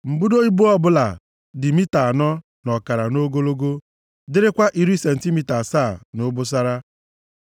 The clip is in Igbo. Mbudo ibo ọ bụla dị mita anọ na ọkara nʼogologo, dịrịkwa iri sentimita asaa nʼobosara,